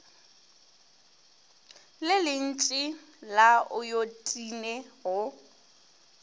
le lentši la ayotine go